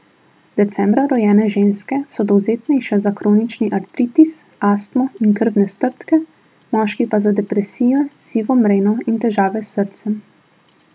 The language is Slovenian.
Decembra rojene ženske so dovzetnejše za kronični artritis, astmo in krvne strdke, moški pa za depresijo, sivo mreno in težave s srcem.